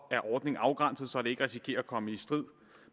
er ordningen afgrænset så den ikke risikerer at komme i strid